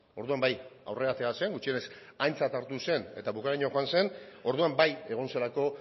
orduan bai aurrera atera zen gutxienez aintzat hartu zen eta bukaeraraino joan zen orduan bai egon zelako